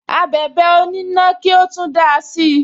Abẹ̀bẹ̀ onina ki o tun dáa si